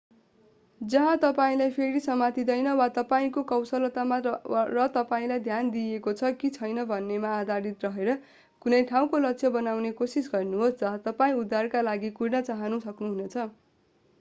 जहाँ तपाईंलाई फेरि समातिदैन वा तपाईंको कौशलतामा र तपाईंलाई ध्यान दिइएको छ कि छैन भन्नेमा आधारित रहेर कुनै ठाउँको लक्ष्य बनाउने कोसिस गर्नुहोस् जहाँ तपाईं उद्धारका लागि कुर्न चाहन सक्नुहुनेछ